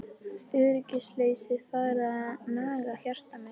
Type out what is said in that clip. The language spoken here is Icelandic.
Öryggisleysið farið að naga hjarta mitt.